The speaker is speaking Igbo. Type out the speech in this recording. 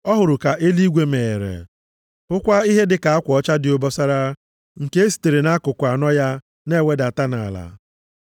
Ọ hụrụ ka eluigwe meghere, hụkwa ihe dịka akwa ọcha dị obosara nke e sitere nʼakụkụ anọ ya na-ewedata nʼala.